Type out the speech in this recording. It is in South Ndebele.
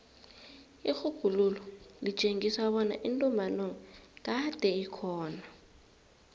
irhubhululo litjengisa kobana intumbantonga kade ikhona